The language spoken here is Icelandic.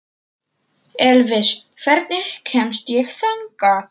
Elvis, hvernig kemst ég þangað?